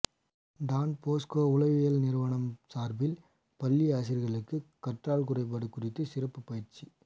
Don Bosco உளவியல் நிறுவனம் சார்பில் பள்ளி ஆசிரியர்களுக்கு கற்றல் குறைபாடு குறித்து சிறப்பு பயிற்சி